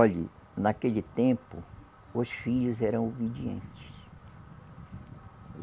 Olhe, naquele tempo, os filhos eram obedientes.